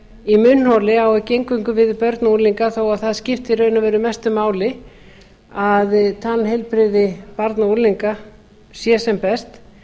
í munnholi á ekki eingöngu við um börn og unglinga þó að það skipti í raun og veru mestu máli að tannheilbrigði barna og unglinga sé sem best